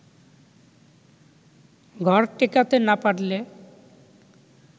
ঘর টেকাতে না পারলে